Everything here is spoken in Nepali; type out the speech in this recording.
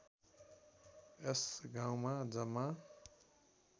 यस गाउँमा जम्मा